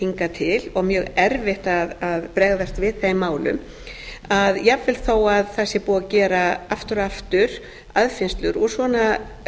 hingað til og mjög erfitt að bregðast við þeim málum jafnvel þó að það sé búið að gera aftur og aftur aðfinnslur úr svona